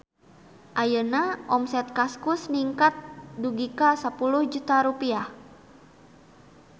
Ayeuna omset Kaskus ningkat dugi ka 10 juta rupiah